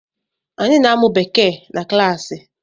Anyị na-amụ Bekee na klaasi.